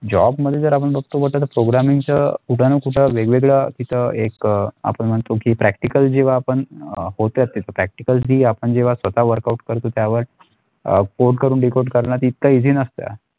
job मध्ये जर आपण बगतो Programming चं कुठे ना कुठे वेगवेगळ्या तिचा एक आपण म्हणतो की practical जेव्हा आपण होते असे practical ती आपण जेव्हा स्वतः workout करतो त्यावर अ code करून D code करना ते इतका easy न असते.